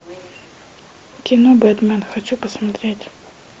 кино бэтмен хочу посмотреть